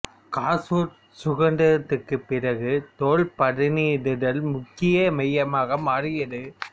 கசூர் சுதந்திரத்திற்குப் பிறகு தோல் பதனிடுதலில் முக்கிய மையமாக மாறியது